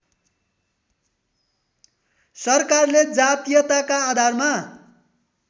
सरकारले जातीयताका आधारमा